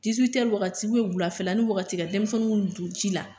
wagati wulafɛlanin wagati ka denmisɛnninw don ji la.